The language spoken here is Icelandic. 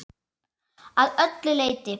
Að öllu leyti.